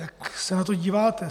Jak se na to díváte?